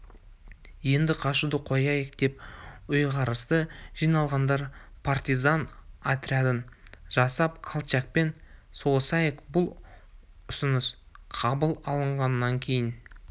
енді қашуды қояйық деп ұйғарысты жиналғандар партизан отрядын жасап колчакпен соғысайық бұл ұсыныс қабыл алынғаннан кейін